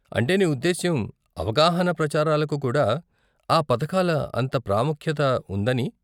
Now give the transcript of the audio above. అంటే నీ ఉద్దేశ్యం అవగాహన ప్రచారాలకు కూడా ఆ పథకాల అంత ప్రాముఖ్యత ఉందని.